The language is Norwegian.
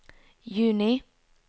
juni